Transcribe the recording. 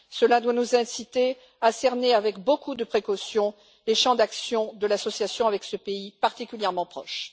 Cela doit nous inciter à cerner avec beaucoup de précautions les champs d'action de l'association avec ce pays particulièrement proche.